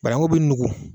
Banangun bɛ nugu